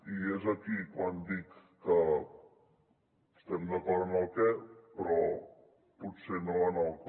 i és aquí quan dic que estem d’acord en el què però potser no en el com